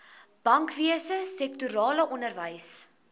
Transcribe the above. bankwese sektorale onderwys